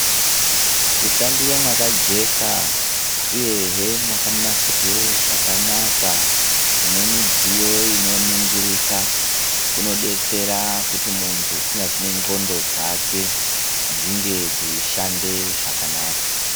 Kushandira mwakajeka uyehe mwakanasirwe zvakanaka, mune midziyo inoningirika kunodetsera kuti muntu kunyazi nendxondo dzake dzinge dzeishande zvakanaka.